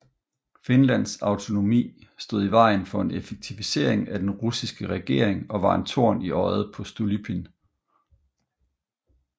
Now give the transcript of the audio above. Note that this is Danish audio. Finlands autonomi stod i vejen for en effektivisering af den russiske regering og var en torn i øjet på Stolypin